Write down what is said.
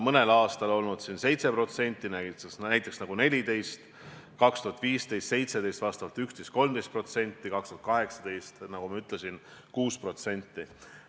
Mõnel aastal on see olnud 7%, näiteks aastal 2014, aga aastatel 2015 ja 2017 vastavalt 11% ja 13% ning aastal 2018, nagu ma ütlesin, 6%.